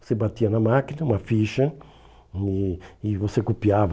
Você batia na máquina uma ficha e e você copiava.